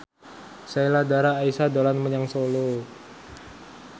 Sheila Dara Aisha dolan menyang Solo